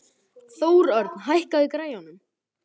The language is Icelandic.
Þórörn, hækkaðu í græjunum.